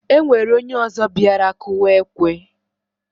Enwere onye ozo biara kụwa ekwe